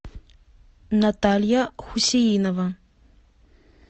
наталья хусеинова